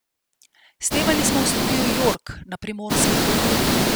Snemali smo v studiu Jork, na Primorskem.